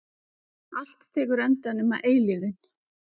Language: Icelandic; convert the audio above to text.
Allt tekur enda nema eilífðin.